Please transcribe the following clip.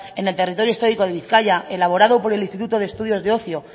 en el territorio histórico de bizkaia elaborado por el instituto de estudios de ocio